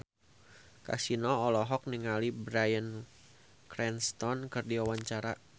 Kasino olohok ningali Bryan Cranston keur diwawancara